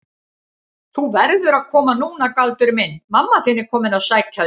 Þú verður að koma núna Galdur minn, mamma þín er komin að sækja þig.